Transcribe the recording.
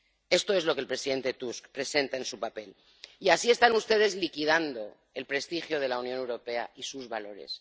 Esto es lo que el presidente Tusk presenta en su documento. Y así están ustedes liquidando el prestigio de la Unión Europea y sus valores.